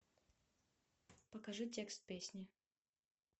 покажи текст песни